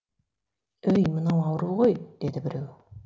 өй мынау ауру ғой деді біреу